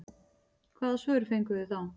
Hvaða svör fenguð þið þá?